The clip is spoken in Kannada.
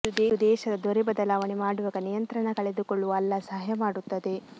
ಇದು ದೇಶದ ದೊರೆ ಬದಲಾವಣೆ ಮಾಡುವಾಗ ನಿಯಂತ್ರಣ ಕಳೆದುಕೊಳ್ಳುವ ಅಲ್ಲ ಸಹಾಯ ಮಾಡುತ್ತದೆ